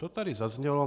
To tady zaznělo.